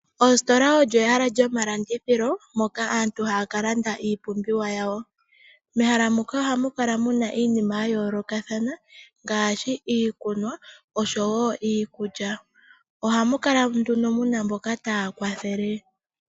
Ositola olyo ehala lyomalandithilo moka aantu haya ka landa iipumbiwa yawo. Mehala muka oha mu kala mu na iinima ya yoolokathana ngaashi iikunwa oshowo iikulya, oha mu kala mu na mboka taya kwathele.